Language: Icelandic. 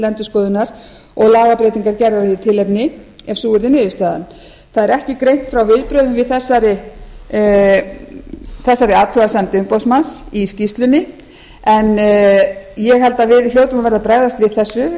endurskoðunar og lagabreytingar gerðar í því tilefni ef sú yrði niðurstaðan það er ekki greint frá viðbrögðum við þessari athugasemd umboðsmanns í skýrslunni en ég held að við hljótum að verða að bregðast við þessu